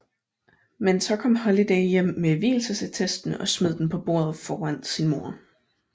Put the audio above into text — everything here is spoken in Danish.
Men så kom Holiday hjem med vielsesattesten og smed den på bordet foran sin mor